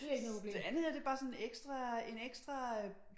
Det andet det bare sådan en ekstra en ekstra øh